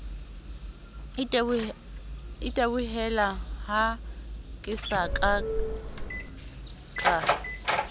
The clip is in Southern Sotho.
itebohelaha ke sa ka ka